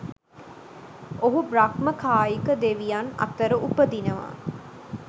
ඔහු බ්‍රහ්ම කායික දෙවියන් අතර උපදිනවා.